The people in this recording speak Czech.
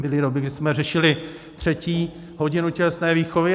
Byly doby, kdy jsme řešili třetí hodinu tělesné výchovy.